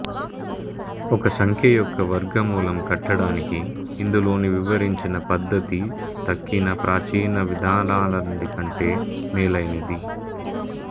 ఒక సంఖ్య యొక్క వర్గమూలం కట్టడానికి ఇందులోని వివరించిన పద్ధతి తక్కిన ప్రాచీన విధానాలన్నిటి కంటే మేలైనది